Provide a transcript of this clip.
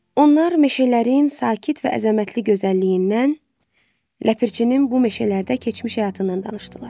Onlar meşələrin sakit və əzəmətli gözəlliyindən, ləpirçinin bu meşələrdə keçmiş həyatından danışdılar.